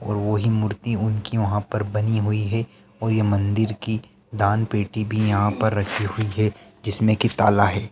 और वही मुर्ति उनकी वहाँ पर बनी हुई है और ये मन्दिर की दानपेटी भी यहाँ पर रखी हुई है जिसमें की ताला है।